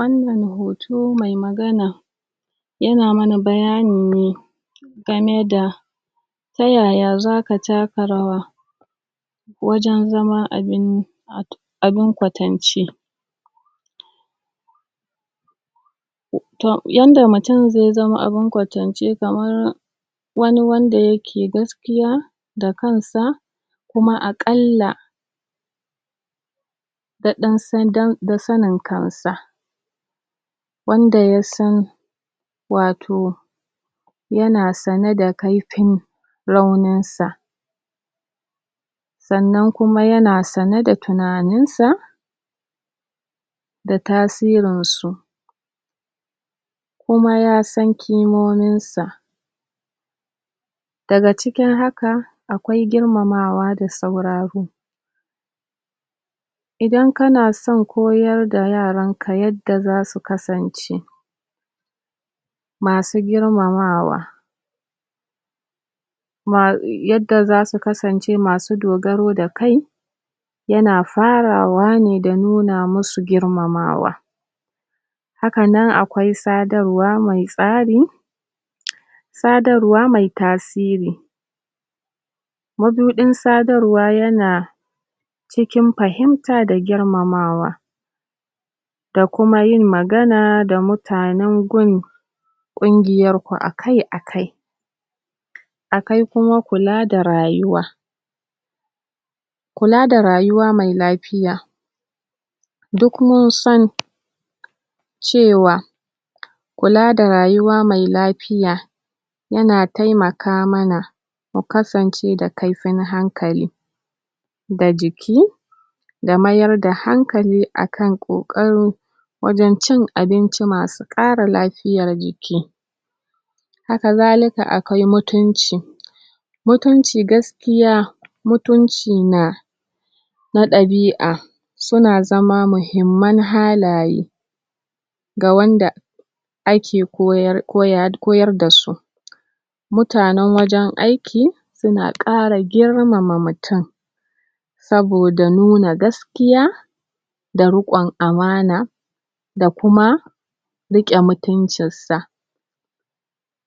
Wannan hoto mai magana yana mana bayani ne game da ta yaya zaka taka rawa wajen zama abin? abin kwatance to, yanda mutum zai zama abin kwatance kamar wani wanda yake gaskiya da kansa kuma a ƙalla da ɗan san dan da sanin kansa wanda yasan wato yana sane da kaifin raunin sa sannan kuma yana sane da tunanin sa da tasirin su kuma ya san kimomin sa daga cikin haka akwai girmamawa da sauraro idan kana son koyar da yaranka yadda zasu kasance masu girmamawa ma? yadda zasu kasance masu dogaro da kai yana farawa ne da nuna musu girmamawa hakanan akwai sadarwa mai tsari sadarwa mai tasiri mabuɗin sadarwa yana cikin fahimta da girmamawa da kuma yin magana da mutanen gun ƙungiyar ku akai-akai akwai kuma kula da rayuwa kula da rayuwa mai lafiya duk mun san cewa kula da rayuwa mai lafiya yana taimaka mana mu kasance da kaifin hankali da jiki da mayar da hankali akan ƙoƙaro wajen cin abinci masu ƙara lafiyar jiki haka zalika akwai mutunci mutunci gaskiya mutunci na na ɗabi'a suna zama muhimman halaye ga wanda ake koyar, ko ya ,koyar dasu mutanen wajen aiki suna ƙara girmama mutum saboda nuna gaskiya da ruƙon amana da kuma riƙe mutuncinsa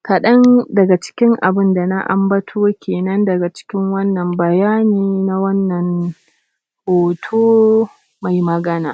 kaɗan daga cikin abinda na ambato kenan daga cikin wannan bayani na wannan hoto mai magana